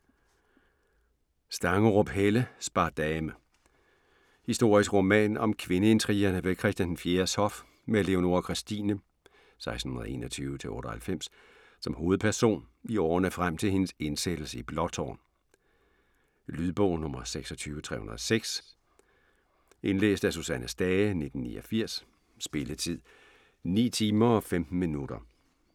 Stangerup, Helle: Spardame Historisk roman om kvindeintrigerne ved Christian IV's hof med Leonora Christina (1621-98) som hovedperson, i årene frem til hendes indsættelse i Blåtårn. Lydbog 26306 Indlæst af Susanne Stage, 1989. Spilletid: 9 timer, 15 minutter.